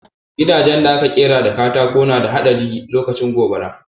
Gidajen da aka ƙera da katako na da haɗari lokacin gobara